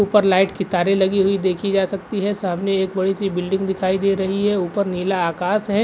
ऊपर लाइट की तारे लगी हुई देखी जा सकती है। सामने एक बड़ी सी बिल्डिंग दिखाई दे रही है। ऊपर नीला आकाश है।